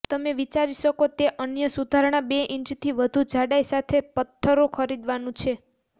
તમે વિચારી શકો તે અન્ય સુધારણા બે ઈંચથી વધુ જાડાઈ સાથે પત્થરો ખરીદવાનું છે